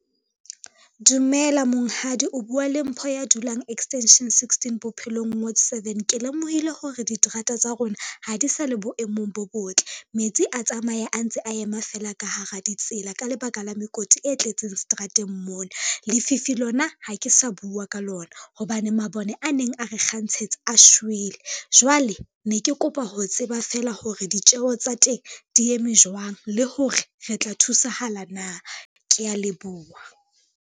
Dumela monghadi o bua le Mpho ya dulang extension sixteen, Bophelong ward seven, ke lemohile hore diterata tsa rona ha di sa le boemong bo botle. Metsi a tsamaye a ntse a ema fela ka hara ditsela ka lebaka la mekoti e tletseng seterateng mona. Lefifi lona ha ke sa bua ka lona hobane mabone a neng a re kgantshetsa a shwele, jwale ne ke kopa ho tseba feela hore ditjeho tsa teng di eme jwang le hore re tla thusahala na? Kea leboha.